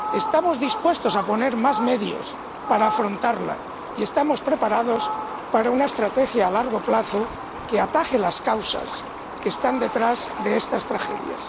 estamos dispuestos a poner más medios para afrontarla y estamos preparados para una estrategia a largo plazo que ataje las causas que están detrás de estas tragedias.